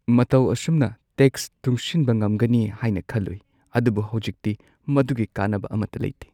ꯃꯇꯧ ꯑꯁꯨꯝꯅ ꯇꯦꯛꯁ ꯇꯨꯡꯁꯤꯟꯕ ꯉꯝꯒꯅꯤ ꯍꯥꯏꯅ ꯈꯜꯂꯨꯏ, ꯑꯗꯨꯕꯨ ꯍꯧꯖꯤꯛꯇꯤ ꯃꯗꯨꯒꯤ ꯀꯥꯟꯅꯕ ꯑꯃꯠꯇ ꯂꯩꯇꯦ꯫